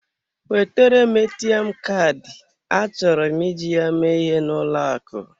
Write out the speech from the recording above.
Wetere m ATM Kaadị, achọrọ m iji ya mee ihe n'ụlọ akụ.